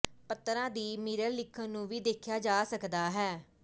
ਪੱਤਰਾਂ ਦੀ ਮਿਰਰ ਲਿਖਣ ਨੂੰ ਵੀ ਦੇਖਿਆ ਜਾ ਸਕਦਾ ਹੈ